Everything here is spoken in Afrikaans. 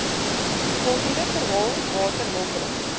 volgende verhaal waterhulpbron